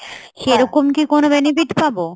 সেরকম কি কোনো benefit পাবো?